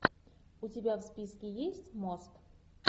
у тебя в списке есть мост